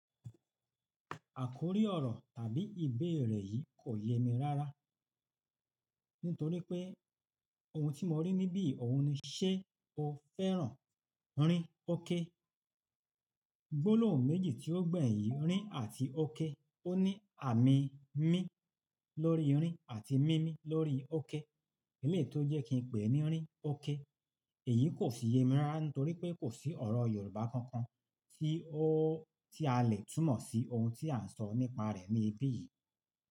Àkórí ọ̀rọ̀ tàbí ìbéèrè yìí kò yemi rárá, nítorí pé ohun tí mo rí níbí òhun ni "ṣé o fẹ́ràn rin óké?" gbólóhùn méjì tí ó gbẹ̀yìn yi, rin àti óké. Ó ní àmì mí lórí rin àti mímí lórí óké. Eléeyi tò jẹ́ kí n pè é ní rin, óké. Èyí kò fi yemi rárá nítorí pé kò sí ọ̀rọ̀ Yorùbá kankan tí a lè túmọ̀ sí ohun tí à ń sọ nípa rẹ̀ ní ibí yìí.